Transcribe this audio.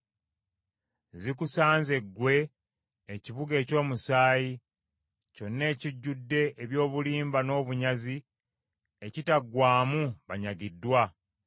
Zikusanze ggwe ekibuga eky’omusaayi! Kyonna ekijjudde eby’obulimba n’obunyazi, ekitaggwaamu banyagiddwa.